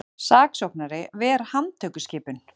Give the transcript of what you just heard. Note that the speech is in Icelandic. Saksóknari ver handtökuskipun